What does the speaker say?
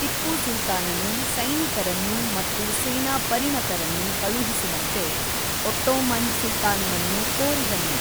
ಟಿಪ್ಪು ಸುಲ್ತಾನನು ಸೈನಿಕರನ್ನು ಮತ್ತು ಸೇನಾ ಪರಿಣತರನ್ನು ಕಳುಹಿಸುವಂತೆ ಒಟ್ಟೋಮನ್ ಸುಲ್ತಾನನನ್ನು ಕೋರಿದನು.